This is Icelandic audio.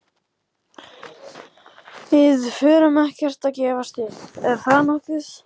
Við förum ekkert að gefast upp. er það nokkuð?